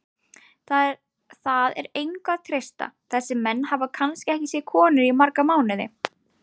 Það er engu að treysta, þessir menn hafa kannski ekki séð konur í marga mánuði.